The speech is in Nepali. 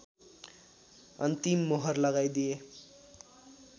अन्तिम मोहर लगाइदिए